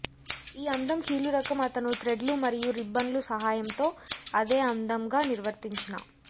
ఈ అందం కీళ్ళు రకం అతను థ్రెడ్లు మరియు రిబ్బన్లు సహాయంతో అదే అందం గా నిర్వర్తించిన